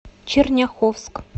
черняховск